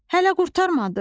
Hələ qurtarmadı?